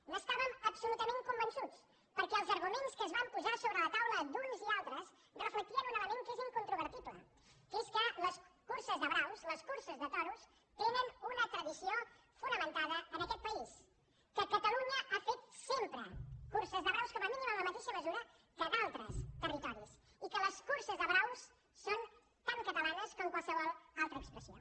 n’estàvem absolutament convençuts perquè els arguments que es van posar sobre la taula d’uns i altres reflectien un element que és incontrovertible que és que les curses de braus les curses de toros tenen una tradició fonamentada en aquest país que catalunya ha fet sempre curses de braus com a mínim en la mateixa mesura que d’altres territoris i que les curses de braus són tan catalanes com qualsevol altra expressió